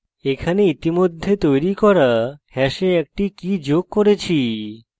এখানে ইতিমধ্যে তৈরি করা hash একটি key যোগ করছি